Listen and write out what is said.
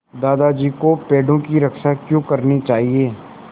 दादाजी को पेड़ों की रक्षा क्यों करनी चाहिए